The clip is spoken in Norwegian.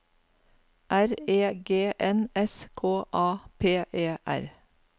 R E G N S K A P E R